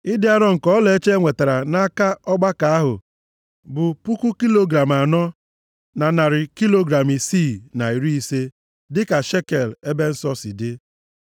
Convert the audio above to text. Ịdị arọ nke ọlaọcha enwetara nʼaka ọgbakọ ahụ, bụ puku kilogram anọ, na narị kilogram isii na iri ise dịka shekel ebe nsọ si dị.